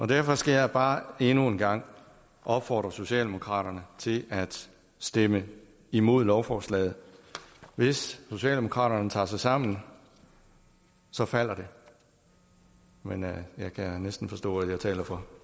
derfor skal jeg bare endnu en gang opfordre socialdemokraterne til at stemme imod lovforslaget hvis socialdemokraterne tager sig sammen så falder det men jeg kan næsten forstå at jeg taler for